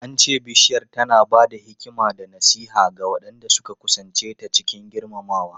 An ce Bishiyar tana ba da hikima da nasiha ga waɗanda suka kusance ta cikin girmamawa.